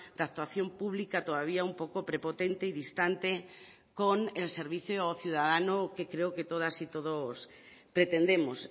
de actuación pública todavía un poco prepotente y distante con el servicio o ciudadano que creo que todas y todos pretendemos